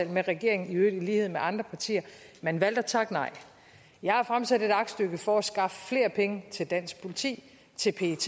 med regeringen i øvrigt i lighed med andre partier men valgte at takke nej jeg har fremsat et aktstykke for at skaffe flere penge til dansk politi til pet